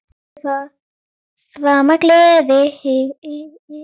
Og aldrei framar gleði.